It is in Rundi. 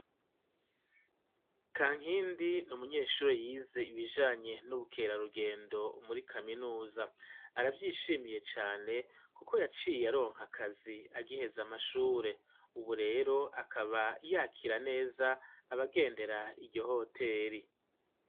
Kankindi n'munyeshuri yize ibijanye n'ubukera rugendo muri kaminuza aravyishimiye cane kuko yaciye aronka akazi agiheze amashure ubu rero akaba yakira neza abagendera iryo hoteri.